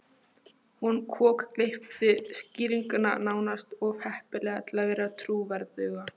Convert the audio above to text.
Hún kokgleypti skýringuna, nánast of heppilega til að vera trúverðuga.